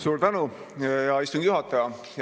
Suur tänu, hea istungi juhataja!